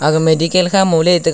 aga medical kha moh le tega.